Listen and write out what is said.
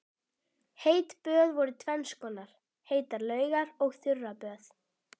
Heit böð voru tvenns konar, heitar laugar og þurraböð.